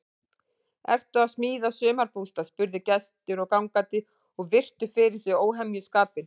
Ertu að smíða sumarbústað? spurðu gestir og gangandi og virtu fyrir sér óhemjuskapinn.